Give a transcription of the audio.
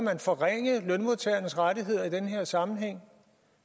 man forringe lønmodtagernes rettigheder i den her sammenhæng